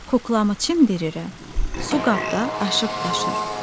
Kuklamı çimdirirəm, su qabda aşıb-daşır.